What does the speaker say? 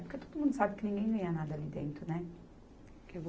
Porque todo mundo sabe que ninguém ganha nada ali dentro, né?